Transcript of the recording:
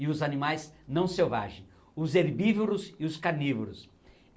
e os animais não selvagens, os herbívoros e os carnívoros.